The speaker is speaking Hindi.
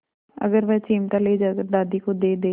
अगर वह चिमटा ले जाकर दादी को दे दे